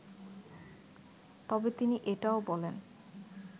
তবে তিনি এটাও বলেন